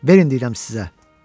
Verin deyirəm sizə.